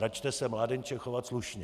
Račte se, mládenče, chovat slušně!